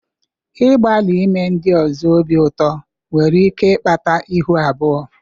Ịgbalị ime ndị ọzọ obi ụtọ nwere ike ịkpata ihu abụọ.